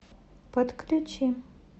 подключи